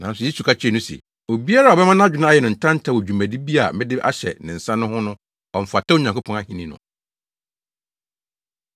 Nanso Yesu ka kyerɛɛ no se, “Obiara a ɔbɛma nʼadwene ayɛ no ntanta wɔ dwumadi bi a mede ahyɛ ne nsa no ho no, ɔmfata Onyankopɔn ahenni no.”